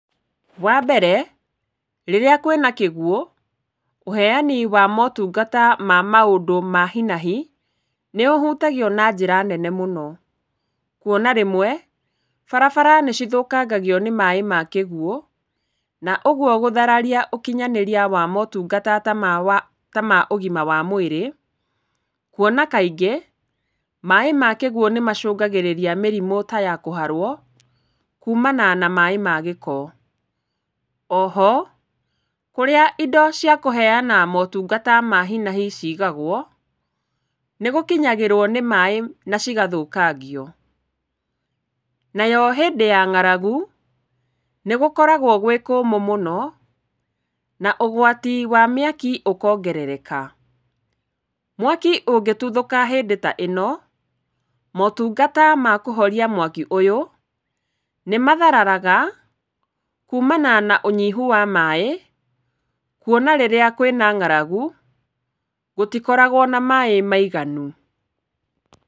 Wa mbere rĩrĩa kwĩna kĩguũ, ũheani wa motungata wa maũndũ ma hi na hi nĩ ũhutagio na njĩra nene mũno. Kuona rĩmwe barabara nĩ cithũkangagio nĩ maĩ ma kĩguũ na ũguo gũthararia ũkinyanĩria wa motungata ta ma ũgima wa mwĩrĩ, Kuona kaingĩ maĩ ma kĩguũ nĩ macũngagĩrĩria mĩrimũ ta ya kũharwo kuumana na maĩ ma gĩko. O ho kũrĩa indo cia kũheana motungata ma hi na hi ciigagwo nĩ gũkinyagĩrwo nĩ maĩ na cigathũkangio. Nayo hĩndĩ ya ngaragu nĩ gũkoragwo gwĩ kũũmũ mũno na ũgwati wa mĩaki ũkongerereka. Mwaki ũngĩtuthũka hĩndĩ ta ĩno, mptungata ma kũhoria mwaki ũyũ nĩ mathararaga kuumana na ũnyihu wa maĩ. Kuona rĩrĩa kwĩna ngaragu gũtikoragwo na maĩ maiganu.